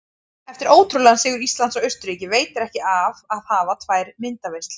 Eftir ótrúlegan sigur Íslands á Austurríki veitir ekki af að hafa tvær myndaveislur.